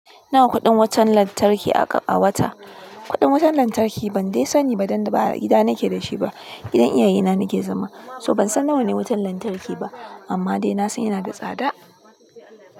Nawa kuɗin wutan lantarki aka a wata? Kuɗin wutan lantarki ban dai sani ba dan ba a gida nake da shi ba, gidan iyayena nake zama, so ban san nawane wutan lantarki ba, amma dai na san ya na da tsada.